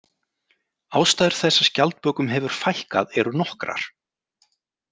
Ástæður þess að skjaldbökum hefur fækkað eru nokkrar.